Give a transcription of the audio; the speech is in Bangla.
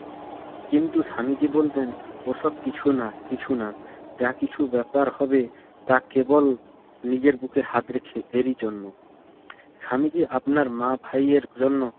কিন্তু স্বামীজি বলতেন, ওসব কিছু না, কিছু না। যা কিছু ব্যাপার হবে তা কেবল নিজের বুকে হাত রেখে এরই জন্য। স্বামীজি আপনার মা ভাইয়ের জন্য